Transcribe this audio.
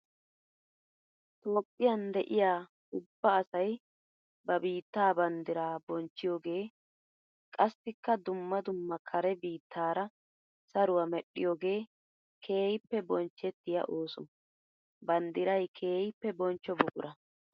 Toophphiyan de'iya ubba asay ba biitta banddira bonchchiyooge qassikka dumma dumma kare biittara saruwa medhdhiyooge keehippe bonchchettiya ooso. Banddiray keehippe bonchcho buqura.